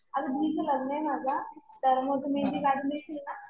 अगं दीदीच लग्न आहे माझ्या. तर मग तू मेहेंदी कडून देशील ना?